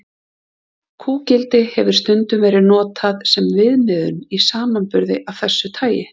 Kúgildi hefur stundum verið notað sem viðmiðun í samanburði af þessu tagi.